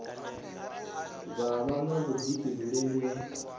vha vha na vhuḓifhinduleli ha